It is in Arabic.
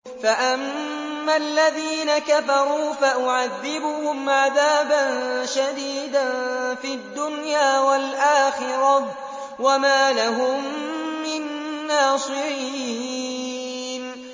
فَأَمَّا الَّذِينَ كَفَرُوا فَأُعَذِّبُهُمْ عَذَابًا شَدِيدًا فِي الدُّنْيَا وَالْآخِرَةِ وَمَا لَهُم مِّن نَّاصِرِينَ